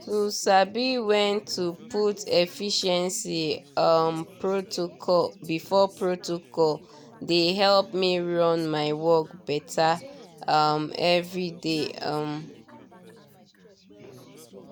to sabi when to put efficiency um protocol before protocol dey help me run my work better um every day. um